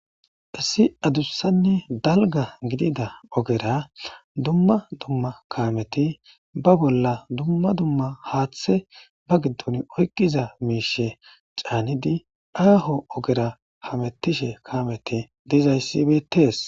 issi adussanne dalgga gididda ogera dumma dumma kameti ba bolla dumma dumma haaththe ba giddon oyqiza miishe caanidi aaho ogera hamettishe kameti de'izayssi betees